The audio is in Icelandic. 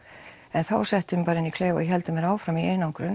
en þá settu þeir mig bara inn í klefa og héldu mér áfram í einangrun